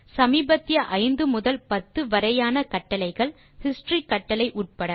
சமீபத்திய 5 முதல் 10 வரையான கட்டளைகள் ஹிஸ்டரி கட்டளை உட்பட